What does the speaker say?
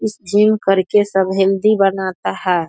इस जिम करके सब हेल्‍दी बनाता है।